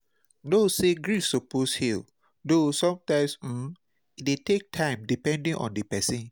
Know say grief suppose heal, though sometimes um e dey take time depedning on di person